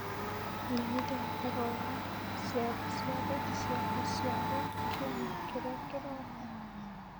menyithia ũhoro wa ciathĩ ciothe cia gũciarwo kiumia kĩrĩa kĩroka